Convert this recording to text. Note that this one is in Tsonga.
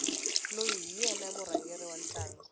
loyi hi yena murhangeri wa ntlangu